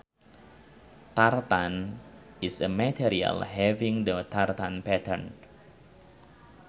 Tartan is a material having the tartan pattern